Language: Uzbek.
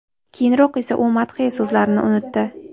Keyinroq esa u madhiya so‘zlarini unutdi.